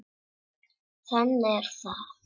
Þannig er það.